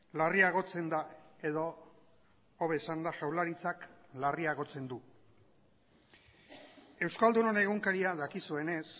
larriagotzen da edo hobe esanda jaurlaritzak larriagotzen du euskaldunon egunkaria dakizuenez